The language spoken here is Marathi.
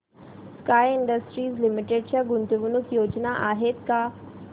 स्काय इंडस्ट्रीज लिमिटेड च्या गुंतवणूक योजना आहेत का